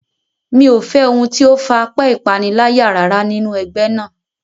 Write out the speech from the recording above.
Mi ò fẹ́ ohun tí ó far apẹ́ ìpaniláyà rárá nínú ẹgbẹ́ náà.